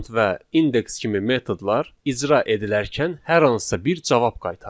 Count və index kimi metodlar icra edilərkən hər hansısa bir cavab qaytarır.